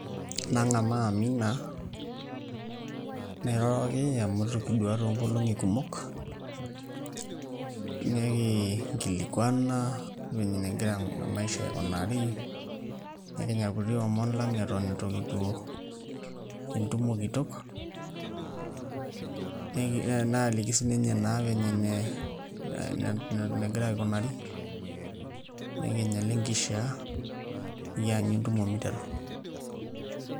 Nang'amaa Amina nairoroki amu itu kiduaa toonkolong'i kumok nekingilikuana venye negira maisha aikunari nekinya irkuti omon lang' eton itu kipuo entumo kitok naaliki sininye naa vile negira aikunari nekinya ile nkishiaa nikianyu entumo miteru.